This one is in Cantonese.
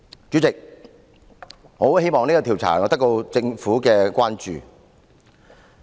主席，我很希望這項調查可以得到政府關注。